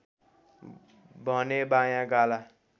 भने बायाँ गाला